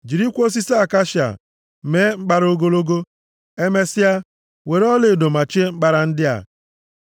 Jirikwa osisi akashia mee mkpara ogologo. Emesịa, were ọlaedo machie mkpara ndị a.